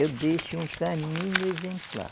Eu deixo um caminho exemplar.